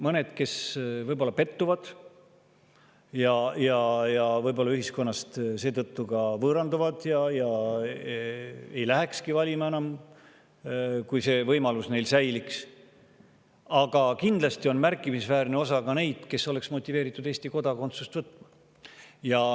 Mõned võib-olla pettuvad ja seetõttu ka võõranduvad ühiskonnast ja ei lähekski enam valima, kui see võimalus neil säiliks, aga kindlasti on märkimisväärne osa ka neid, kes oleksid motiveeritud Eesti kodakondsust võtma.